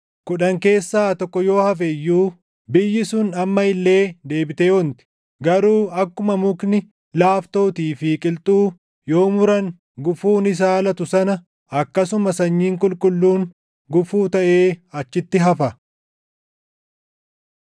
Kudhan keessaa tokko yoo hafe iyyuu, biyyi sun amma illee deebitee onti. Garuu akkuma mukni laaftootii fi qilxuu, yoo muran gufuun isaa latu sana akkasuma sanyiin qulqulluun gufuu taʼee achitti hafa.”